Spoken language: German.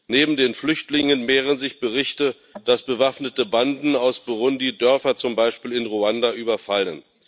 Neben den Flüchtlingen mehren sich Berichte, dass bewaffnete Banden aus Burundi Dörfer, zum Beispiel in Ruanda, überfallen.